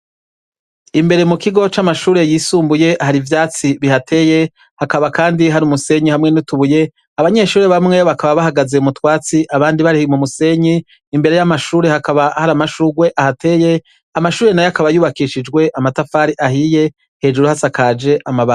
Imbere mu kigo c'amashuri yisumbuye hari ivyatsi bihateye. Hakaba kandi hari umusenyi hamwe n'utubuye ,abanyeshuri bamwe bakaba bahagaze umutwatsi abandi barih mu musenyi imbere y'amashuri hakaba hari amashugwe ahateye amashuri na yo akaba yubakishijwe amatafari ahiye hejuru hasakaje amabati.